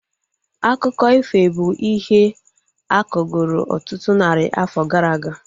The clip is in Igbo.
Akụkọ ifo bụ ihe akọgoro ọtụtụ narị afọ gara aga